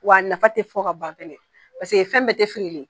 Wa nafa te fɔ ka ban kelen kelen paseke fɛn bɛ